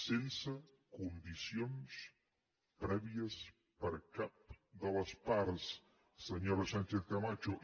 sense condicions prèvies per cap de les parts senyora sánchezcamacho